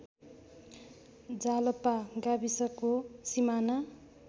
जालपा गाविसको सिमाना